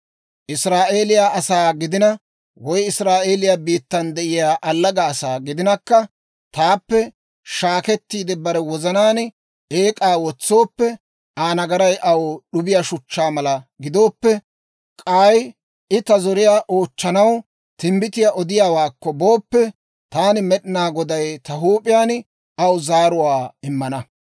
«‹ «Israa'eeliyaa asaa gidina, woy Israa'eeliyaa biittan de'iyaa allaga asaa gidinakka, taappe shaakkettiide, bare wozanaan eek'aa wotsooppe, Aa nagaray aw d'ubbiyaa shuchchaa mala gidooppe, k'ay I ta zoriyaa oochchanaw timbbitiyaa odiyaawaakko booppe, taani Med'inaa Goday ta huup'iyaan aw zaaruwaa immana.